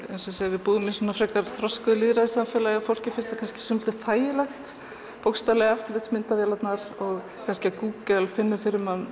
við búum í frekar þroskuðu lýðræðissamfélagi og fólki finnst það kannski svolítið þægilegt bókstaflega eftirlitsmyndavélarnar og kannski að Google finni fyrir manni